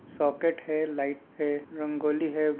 Socket है light है रंगोली हैं।